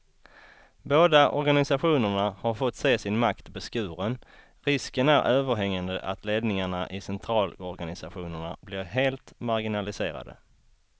Båda organisationerna har fått se sin makt beskuren, risken är överhängande att ledningarna i centralorganisationerna blir helt marginaliserade.